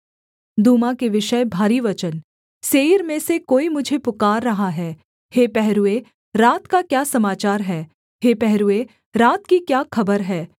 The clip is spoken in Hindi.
दूमा के विषय भारी वचन सेईर में से कोई मुझे पुकार रहा है हे पहरूए रात का क्या समाचार है हे पहरूए रात की क्या खबर है